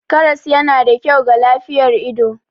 Karas yana da kyau ga lafiyar ido.